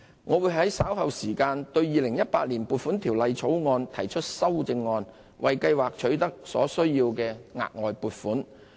我們會在稍後時間對《2018年撥款條例草案》提出修正案，為計劃取得所需的額外撥款。